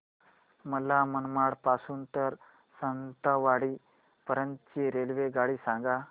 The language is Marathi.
मला मनमाड पासून तर सावंतवाडी पर्यंत ची रेल्वेगाडी सांगा